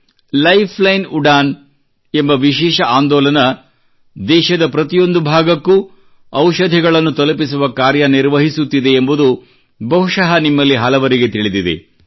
Lifeline Udan ಎಂಬ ವಿಶೇಷ ಆಂದೋಲನ ದೇಶದ ಪ್ರತಿಯೊಂದು ಭಾಗಕ್ಕೂ ಔಷಧಿಗಳನ್ನು ತಲುಪಿಸುವ ಕಾರ್ಯನಿರ್ವಹಿಸುತ್ತಿದೆ ಎಂಬುದು ಬಹುಶಃ ನಿಮ್ಮಲ್ಲಿ ಹಲವರಿಗೆ ತಿಳಿದಿದೆ